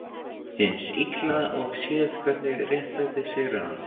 Hins Illa og séð hvernig réttlætið sigrar hann.